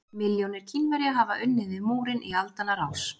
Milljónir Kínverja hafa unnið við múrinn í aldanna rás.